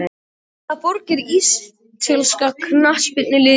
Frá hvaða borg er ítalska knattspyrnuliðið Juventus?